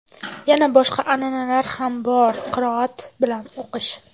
Yana boshqa an’ana ham bor: qiroat bilan o‘qish.